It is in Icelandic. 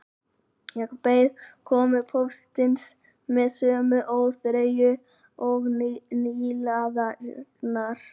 Ég beið komu póstsins með sömu óþreyju og nýliðarnir